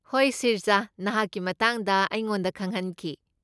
ꯍꯣꯏ ꯁ꯭ꯔꯤꯖꯥꯅ ꯅꯍꯥꯛꯀꯤ ꯃꯇꯥꯡꯗ ꯑꯩꯉꯣꯟꯗ ꯈꯪꯍꯟꯈꯤ꯫